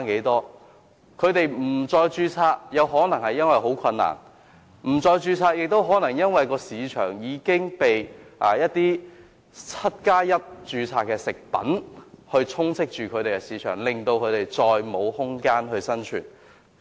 中成藥不註冊，可能因為註冊十分困難，也可能因為市場充斥着 "1+7" 營養資料標籤食品，令它們再沒有生存空間。